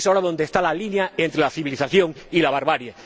Es ahora donde está la línea entre la civilización y la barbarie.